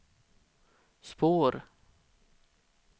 spår